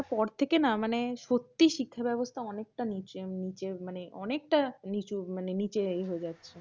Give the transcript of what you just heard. করোনার পর থেকে না মানে সত্যি শিক্ষা ব্যবস্থা অনেকতা নিচে। মানে অনেকটা নিচু মানে নিচে ইয়ে হয়েছে।